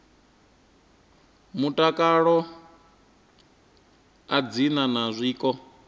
mutakalo a dzi na zwiko